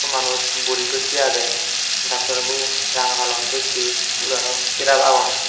manuj buri dossey agey doctor bo ranga holom dossey syot aro syrup agon.